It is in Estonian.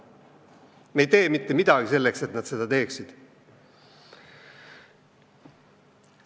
Või vähemalt me ei tee mitte midagi selleks, et nad seda teeksid.